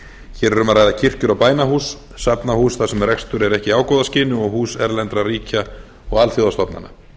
hér er um að ræða kirkjur og bænahús safnahús þar sem rekstur er ekki í ágóðaskyni og hús erlendra ríkja og alþjóðastofnana